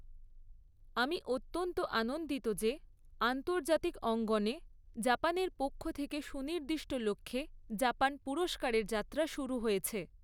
আমি অত্যন্ত আন্দন্দিত যে আন্তর্জাতিক অঙ্গনে জাপানের পক্ষ থেকে সুনির্দিষ্ট লক্ষ্যে জাপান পুরস্কারের যাত্রা শুরু হয়েছে।